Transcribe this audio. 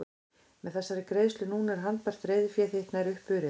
Með þessari greiðslu núna er handbært reiðufé þitt nær upp urið.